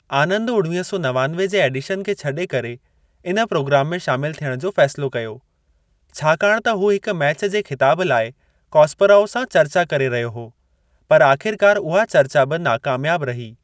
आनंद उणवीह सौ नवानवे जे एडिशन खे छॾे करे इन प्रोग्राम में शामिल थियण जो फैसिलो कयो, छाकाणि त हू हिक मैच जे खिताब लाइ कास्परोव सां चर्चा करे रहियो हो, पर आखिरकार उहा चर्चा बि नाकामयाब रही।